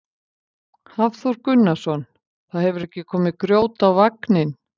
Hafþór Gunnarsson: Það hefur ekki komið grjót á vagninn?